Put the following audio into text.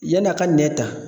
Yan'a ka nɛ ta